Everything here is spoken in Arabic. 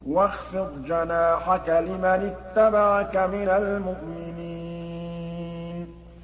وَاخْفِضْ جَنَاحَكَ لِمَنِ اتَّبَعَكَ مِنَ الْمُؤْمِنِينَ